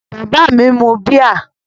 Bàbá mi mu bíà?